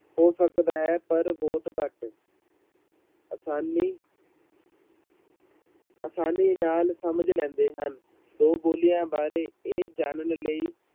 ਹੋ ਸਕਦਾ ਹੈ ਪਰ ਬਹੁਤ ਘੱਟ ਆਸਾਨੀ ਆਸਾਨੀ ਨਾਲ ਸਮਝ ਲੈਂਦੇ ਹਨ, ਦੋ ਬੋਲੀਆਂ ਬਾਰੇ ਇਹ ਜਾਣਨ ਲਈ